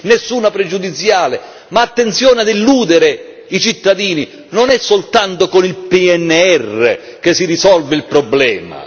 Nessuna pregiudiziale, ma attenzione ad illudere i cittadini non è soltanto con il PNR che si risolve il problema.